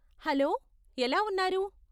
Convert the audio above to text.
Hello, ఎలా ఉన్నారు?